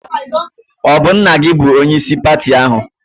Ọ bụ nna gị bụ onyeisi pati ahụ?